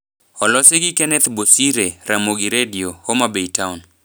Olosi gi Kenneth Bosire, Ramogi Redio, Homa Bay Town